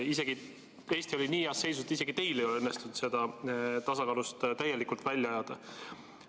Eesti oli nii heas seisus, isegi teil ei ole õnnestunud seda tasakaalust täielikult välja ajada.